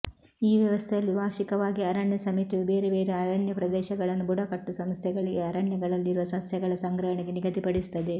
ಈ ವ್ಯವಸ್ಥೆಯಲ್ಲಿ ವಾರ್ಷಿಕವಾಗಿ ಅರಣ್ಯ ಸಮಿತಿಯು ಬೇರೆ ಬೇರೆ ಅರಣ್ಯ ಪ್ರದೇಶಗಳನ್ನು ಬುಡಕಟ್ಟು ಸಂಸ್ಥೆಗಳಿಗೆ ಅರಣ್ಯಗಳಲ್ಲಿರುವ ಸಸ್ಯಗಳ ಸಂಗ್ರಹಣೆಗೆ ನಿಗದಿಪಡಿಸುತ್ತದೆ